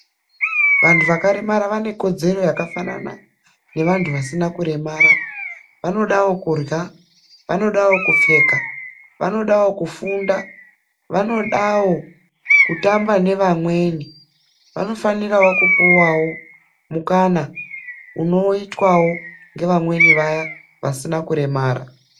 Vantu vakaremara vane kodzero yakafanana ngeevantu vasina kuremara. Vanodawo kurya, vanodawo kupfeka, vanodawo kufunda, vanodawo kutamba nevamweni, vanofanirawo kupuwawo mukana unoitwawo ngevamweni vaya vasina kuremara.